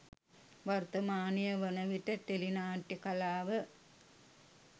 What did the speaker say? වර්තමානය වන විට ටෙලි නාට්‍යය කලාව